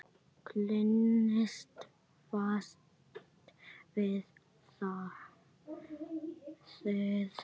Klínist fast við það.